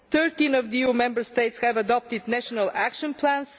Thirteen of the EU Member States have adopted national action plans.